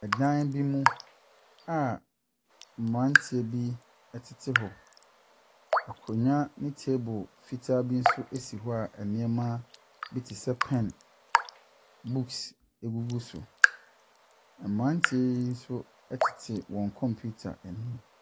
Dan bi mu a mmeranteɛ bi tete hɔ. Nkonnwa ne table fitaa bi nso si hɔ a nneɛma bi te sɛ pɛn, books gugu so. Mmeranteɛ yi nso tete wɔn kɔmpiita anim.